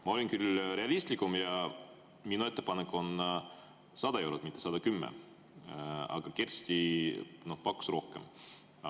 Ma olin küll realistlikum ja minu ettepanek oli 100 eurot, mitte 110, aga Kersti pakkus rohkem.